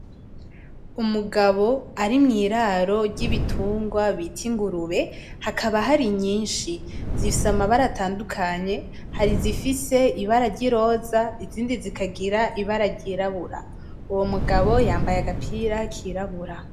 Umugabo ari mwiraro ry'ibitugwa bita ingurube, hakaba hari ingurube nyinshi zifise amabara atandukanye hari izifise ibara ry'iroza izindi zikagira ibara ry'irabura, uwo mugabo yambaye agapira kirabura.